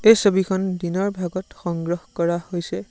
এই ছবিখন দিনৰ ভাগত সংগ্ৰহ কৰা হৈছে।